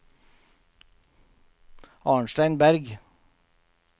Arnstein Bergh